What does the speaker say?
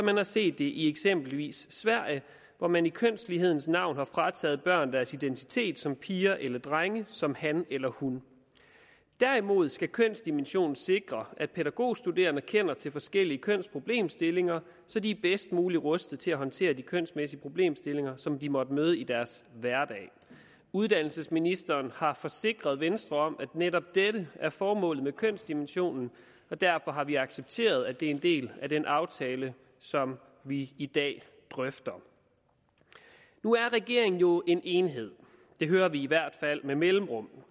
har set det i eksempelvis sverige hvor man i kønslighedens navn har frataget børn deres identitet som piger eller drenge som han eller hun derimod skal kønsdimensionen sikre at pædagogstuderende kender til forskellige kønsproblemstillinger så de er bedst muligt rustet til at håndtere de kønsmæssige problemstillinger som de måtte møde i deres hverdag uddannelsesministeren har forsikret venstre om at netop dette er formålet med kønsdimensionen og derfor har vi accepteret at det er en del af den aftale som vi i dag drøfter nu er regeringen jo en enhed det hører vi i hvert fald med mellemrum og